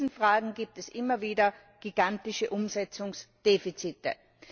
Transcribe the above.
In diesen Fragen gibt es immer wieder gigantische Umsetzungsdefizite.